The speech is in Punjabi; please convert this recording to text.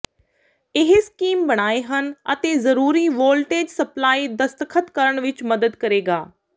ਇਹ ਸਕੀਮ ਬਣਾਏ ਹਨ ਅਤੇ ਜ਼ਰੂਰੀ ਵੋਲਟੇਜ ਸਪਲਾਈ ਦਸਤਖਤ ਕਰਨ ਵਿੱਚ ਮਦਦ ਕਰੇਗਾ